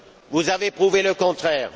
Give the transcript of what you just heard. vous avez prouvé le contraire.